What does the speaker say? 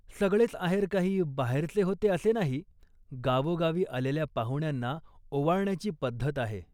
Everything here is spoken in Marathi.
सगळेच आहेर काही बाहेरचे होते असे नाही. गावोगावी आलेल्या पाहुण्यांना ओवाळण्याची पद्धत आहे